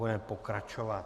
Budeme pokračovat.